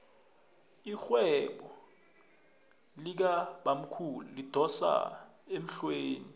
irhwebo likabamkhulu lidosa emhlweni